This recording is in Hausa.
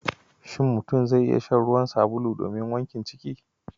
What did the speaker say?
Shin mutum zai iya shan ruwan sabulu domin wankin ciki?